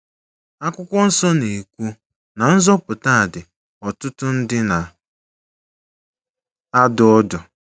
Akwụkwọ nsọ na - ekwu na nzọpụta dị “ n’ọtụtụ ndị na - adụ ọdụ. ”